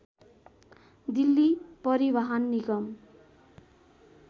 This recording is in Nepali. दिल्ली परिवहन निगम